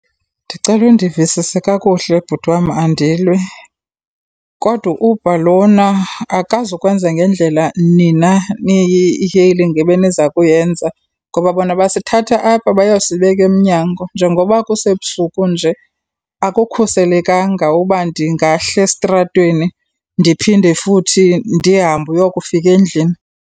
Ndicela undivisise kakuhle, bhuti wam, andilwi, kodwa uber lona akazukwenza ngendlela nina ebeniza kuyenza ngoba bona basithatha apha bayosibeka emnyango. Njengoba kusebusuku nje akukhuselekanga uba ndingahla esitratweni ndiphinde futhi ndihambe uyokufika endlini.